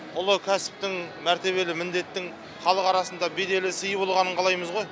ұлы кәсіптің мәртебелі міндеттің халық арасында беделі сыйы болғанын қалаймыз ғой